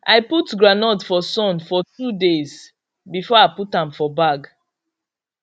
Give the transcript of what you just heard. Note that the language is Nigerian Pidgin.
i put groundnut for sun for two days before i put am for bag